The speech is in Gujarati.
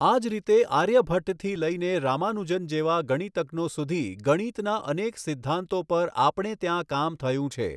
આ જ રીતે આર્યભટ્ટથી લઈને રામાનુજન જેવા ગણિતજ્ઞો સુધી ગણિતના અનેક સિદ્ધાંતો પર આપણે ત્યાં કામ થયું છે.